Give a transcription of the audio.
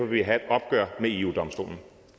vi have et opgør med eu domstolen